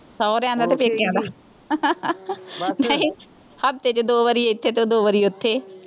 ਸਹੁਰਿਆਂ ਦਾ ਅਤੇ ਪੇਕਿਆ ਦਾ, ਹਫਤੇ ਚ ਦੋ ਵਾਰੀ ਇੱਥੇ ਅਤੇ ਦੋ ਵਾਈ ਉੱਥੇ